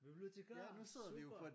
Bibliotikar super!